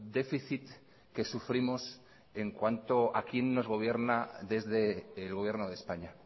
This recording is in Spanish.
déficit que sufrimos en cuanto a quien nos gobierna desde el gobierno de españa